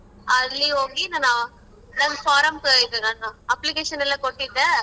ಅಲ್ಲಿ ಹೋಗಿ ನಾನು ನನ್ form ನಾನು application ಎಲ್ಲಾ ಕೊಟ್ಟಿದ್ದೆ.